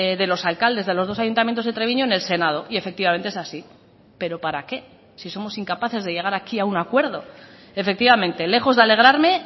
de los alcaldes de los dos ayuntamientos de treviño en el senado y efectivamente es así pero para qué si somos incapaces de llegar aquí a un acuerdo efectivamente lejos de alegrarme